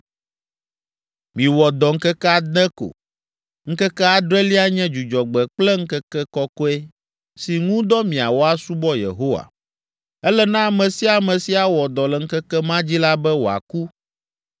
“Miwɔ dɔ ŋkeke ade ko. Ŋkeke adrelia nye dzudzɔgbe kple ŋkeke kɔkɔe si ŋu dɔ miawɔ asubɔ Yehowa. Ele na ame sia ame si awɔ dɔ le ŋkeke ma dzi la be wòaku.